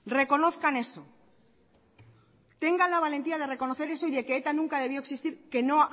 reconozcan eso tenga la valentía de reconocer eso y de que eta nunca debió existir que no